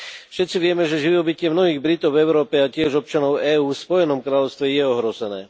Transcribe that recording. Všetci vieme, že živobytie mnohých Britov v Európe a tiež občanov EÚ v Spojenom kráľovstve je ohrozené.